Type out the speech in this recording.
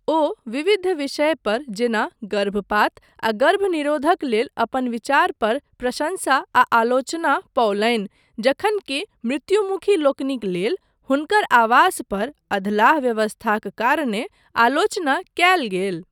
ओ विविध विषय पर जेना गर्भपात आ गर्भनिरोधक लेल अपन विचार पर प्रशंसा आ आलोचना पओलनि, जखन कि मृत्युमुखी लोकनिक लेल हुनकर आवास पर अधलाह व्यवस्थाक कारणे आलोचना कयल गेल।